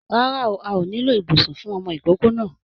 Rárá a ò nílò ibùsùn fún ọmọ ìkókó náà.